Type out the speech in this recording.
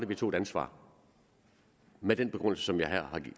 vi tog et ansvar med den begrundelse som jeg her har